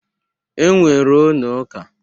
E nwere ụnọ ụka.